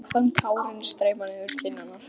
Ég fann tárin streyma niður kinnarnar.